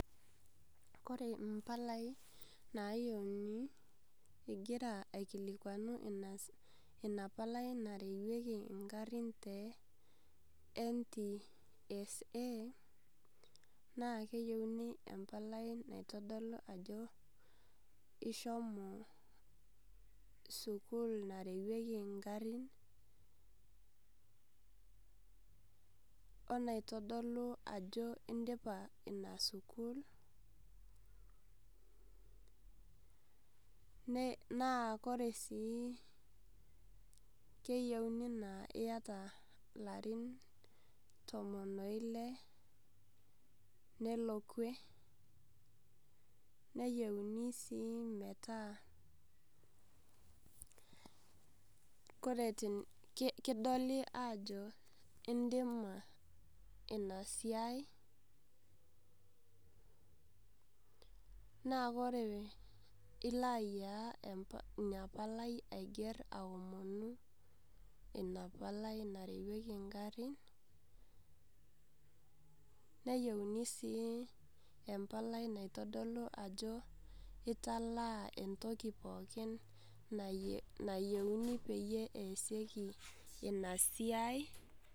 Ore impalai naayiouni ingira aikilikwanu ina palai narewieki ing'arin te NTSA, naa keyouni empalai nautu ajo ishomo sukuul narewieki ingarin, o enaitodolu ajo indipa ina sukuul, naa ore sii, naa keyouni naa iata ilarin toon o ile nelo kwee. Neyouni sii ometaa kore tenikidoli ajo indima ina siai, naa ore ilo ayiaya ina palai aiger aomonu ina palai narewieki engarin. Neyouni sii empalai naitodolu ajo italaa entoki pookin nayieuni peeyie easieki ina siai.